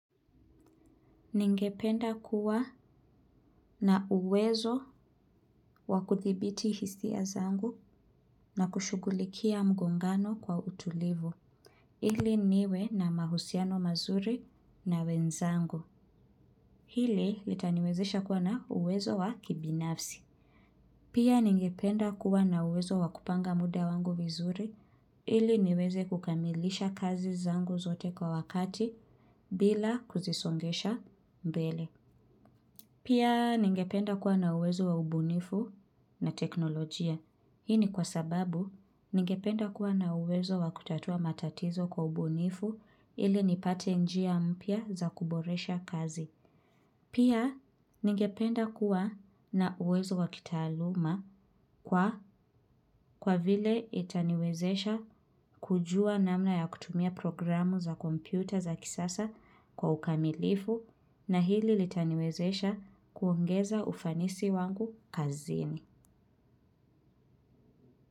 Ningependa kuwa na uwezo wa kuthibiti hisia zangu na kushugulikia mgongano kwa utulivu. Ili niwe na mahusiano mazuri na wenzangu. Hili litaniwezesha kuwa na uwezo wa kibinafsi. Pia ningependa kuwa na uwezo wakupanga muda wangu vizuri. Ili niweze kukamilisha kazi zangu zote kwa wakati bila kuzisongesha mbele. Pia ningependa kuwa na uwezo wa ubunifu na teknolojia. Hii ni kwa sababu ningependa kuwa na uwezo wa kutatua matatizo kwa ubunifu ili nipate njia mpya za kuboresha kazi. Pia ningependa kuwa na uwezo wa kitaaluma kwa vile itaniwezesha kujua namna ya kutumia programu za kompyuta za kisasa kwa ukamilifu na hili litaniwezesha kuongeza ufanisi wangu kazini.